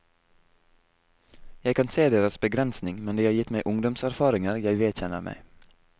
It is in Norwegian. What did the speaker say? Jeg kan se deres begrensning, men de har gitt meg ungdomserfaringer jeg vedkjenner meg.